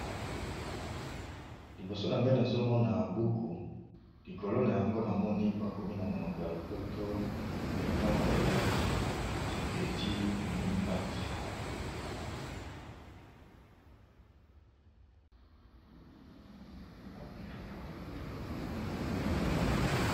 Liboso Nagai nazomona buku na likolo nango namoni bakomi voiyage de Mille pattes